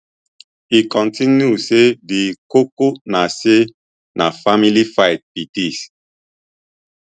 e continue say di koko na say na family fight be dis